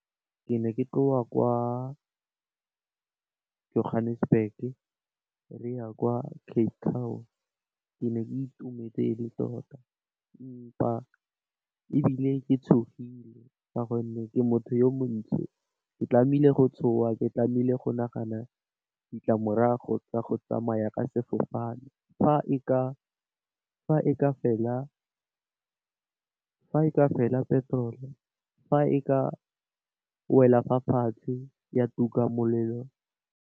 Ke ne ke tloga kwa ko Johannesburg re ya kwa Cape town. Ke ne ke itumetse ele tota, empa ebile ke tshogile ka gonne ke motho yo montsho ke tlamehile go tshoga ke tlamehile go nagana ditlamorago tsa go tsamaya ka sefofane fa e ka fela petrol fa e ka wela fa fatshe ya tuka molelo.